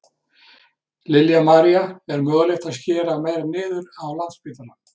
María Lilja: Er mögulegt að skera meira niður á Landspítalanum?